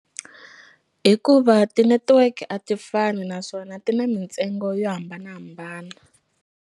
Hikuva ti-network a ti fani naswona ti na mintsengo yo hambanahambana.